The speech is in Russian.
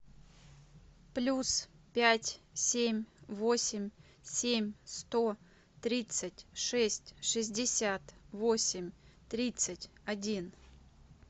плюс пять семь восемь семь сто тридцать шесть шестьдесят восемь тридцать один